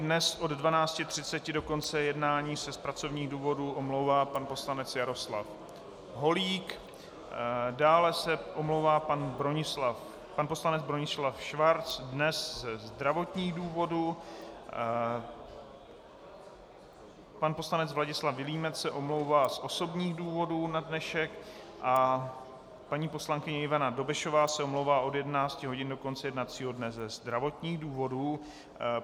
Dnes od 12.30 do konce jednání se z pracovních důvodů omlouvá pan poslanec Jaroslav Holík, dále se omlouvá pan poslanec Bronislav Schwarz dnes ze zdravotních důvodů, pan poslanec Vladislav Vilímec se omlouvá z osobních důvodů na dnešek a paní poslankyně Ivana Dobešová se omlouvá od 11 hodin do konce jednacího dne ze zdravotních důvodů.